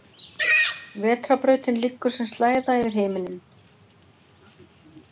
Vetrarbrautin liggur sem slæða yfir himinninn.